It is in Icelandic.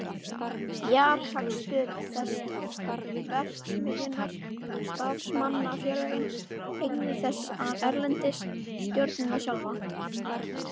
Fjárhagsstöðu þess, verksmiðjurnar, starfsmannafélögin, eignir þess erlendis, stjórnendurna sjálfa.